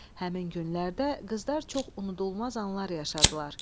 Həmin günlərdə qızlar çox unudulmaz anlar yaşadılar.